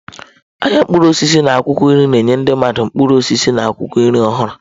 Ahịa mkpụrụ osisi na akwụkwọ nri na-enye ndị mmadụ mkpụrụ osisi na akwụkwọ nri ọhụru.